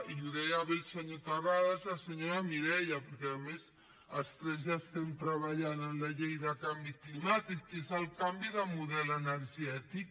i ho deien bé el senyor terrades i la senyora mireia perquè a més els tres ja estem treballant en la llei de canvi climàtic que és el canvi de model energètic